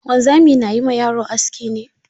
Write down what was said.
Wanzami na yi ma yaro aski ne?